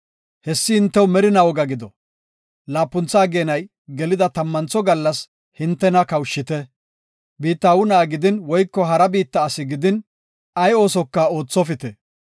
Haysi hintew merinaa woga gido; laapuntha ageenay gelida tammantho gallas hintena kawushite; biitta aawu na7a gidin woyko hara biitta asi gidin, ay oosoka oothopite.